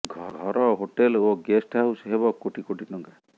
ଘର ହୋଟେଲ ଓ guest house ହେବ କୋଟି କୋଟି ଟଙ୍କା